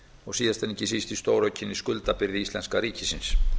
og síðast en ekki síst í stóraukinni skuldabyrði íslenska ríkisins